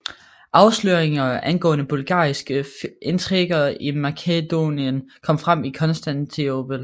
Afsløringer angående bulgarske intriger i Makedonien kom frem i Konstantinopel